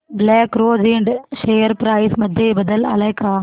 black Rose Ind share price मध्ये बदल आलाय का